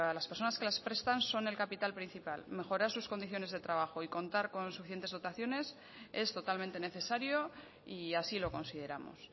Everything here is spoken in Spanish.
las personas que las prestan son el capital principal mejorar sus condiciones de trabajo y contar con suficientes dotaciones es totalmente necesario y así lo consideramos